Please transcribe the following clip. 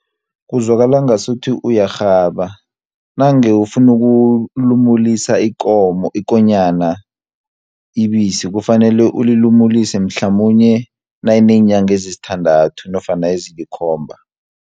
Kuzwakala ngasuthi uyarhaba, nange ufuna ukulumulisa ikonyana ibisi, kufanele ulilumulise mhlamunye nayineenyanga ezisithandathu nofana ezilikhomba.